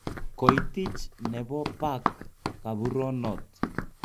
Koitich nebo Park kaburonot.